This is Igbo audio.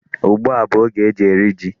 Ugbu a bụ oge e ji eri ji.